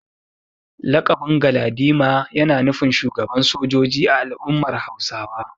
Lakabin Galadima yana nufin shugaban sojoji a al’ummar Hausawa.